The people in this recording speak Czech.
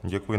Děkuji.